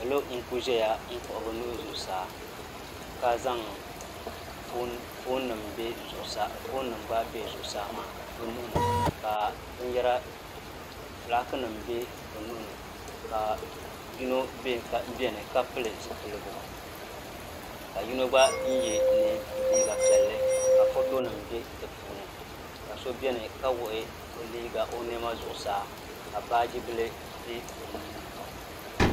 Salo n kuli zaya n kpuɣi bɛ nuhi zuɣu saa ka zaŋ foonima gba be zuɣu saa maa bɛ nuhi ni ka filaaki nima be bɛ nuhi ka yino biɛni ka pili zipilgu ka yino gba n ye liiga piɛlli ka fotonima be di puuni ka so biɛni ka wuɣi o niɛma zuɣu saa ka baajibila be o nuuni.